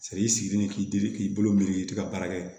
i sigilen k'i dili k'i bolo miiri i tɛ ka baara kɛ